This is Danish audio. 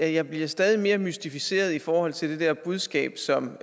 at jeg bliver stadig mere mystificeret i forhold til det der budskab som